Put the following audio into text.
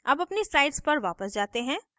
अब अपनी slides पर वापस जाते हैं